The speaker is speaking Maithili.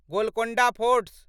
गोलकोण्डा फोर्ट